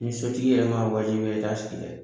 Ni sotigi yɛrɛ m'a wajibiya i t'a sigi dɛ